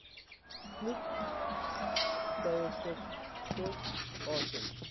snoek thyrsites atun